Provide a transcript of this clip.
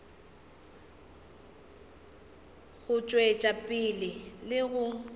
go tšwetša pele le go